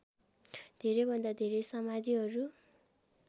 धेरैभन्दा धेरै समाधिहरू